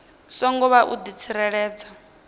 songo vha u di tsireledza